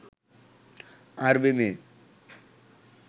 আরবী মেয়ে